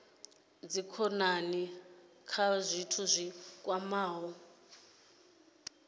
dzikhonani kha zwithu zwi kwamaho